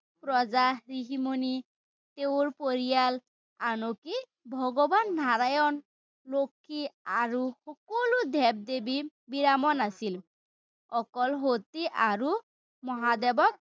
প্ৰজা, ঋষি-মুনি, তেওঁৰ পৰিয়াল আনকি ভগবান নাৰায়ণ, লক্ষী আৰু সকলো দেৱ-দেৱীৰ আছিল। অকল সতী আৰু মহাদেৱক